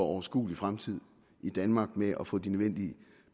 overskuelig fremtid i danmark med at få de nødvendige